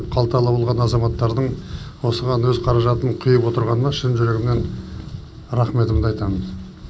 қалталы болған азаматтардың осыған өз қаражатын құйып отырғанына шын жүрегімнен рахметімді айтамын